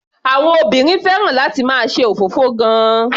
Àwọn obìnrin fẹ́ràn láti máa ṣe òfófó gan-an.